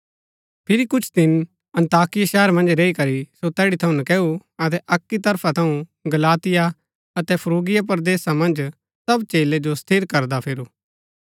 फिरी कुछ दिन अन्ताकिया शहर मन्ज रैई करी सो तैड़ी थऊँ नकैऊ अतै अक्की तरफा थऊँ गलातिया अतै फ्रूगिया परदेसा मन्ज सब चेलै जो स्थिर करदा फिरू